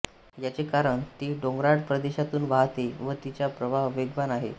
याचे कारण ती डोंगराळ प्रदेशातून वाहते व तिचा प्रवाह वेगवान आहे